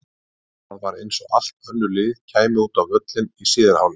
En það var eins og allt önnur lið kæmu út á völlinn í síðari hálfleik.